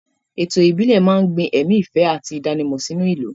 Ètò ìbílẹ̀ máa ń gbin ẹ̀mí ìfẹ́ àti ìdánimọ̀ sínú ìlú.